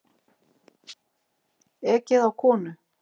Ekið á konu